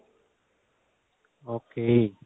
okay